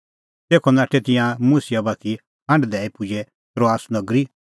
तेखअ नाठै तिंयां मुसिआ बाती हांढ दैई पुजै त्रोआस नगरी